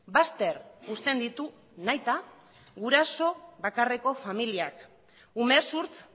bazter uzten ditu nahita guraso bakarreko familiak umezurtz